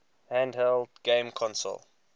handheld game console